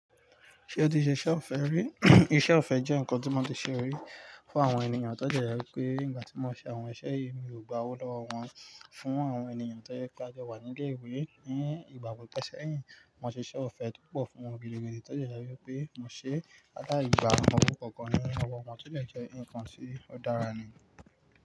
Ṣé ó ti ṣe iṣẹ́ ọ̀fẹ́ rí? Iṣẹ́ ọ̀fẹ́ jẹ́ nǹkan tí mo ti ṣe rí fún àwọn ènìyàn tọ́dẹ jẹ pé nígbà tí mo ṣe àwọn iṣẹ́ yìí mi ò gba owó lọ́wọ́ wọn. Fún àwọn ènìyàn tó jẹ́ pé a jọwà ní ilé ìwé ní ìgbà kọ́kan sẹ́yìn, mo ṣe iṣẹ́ ọ̀fẹ́ púpọ̀ fún wọn gidi ni tòde je wípé mo ṣe alai gbá owo kankan ní owo won tó dé jẹ́ nǹkan tí ó dára ni.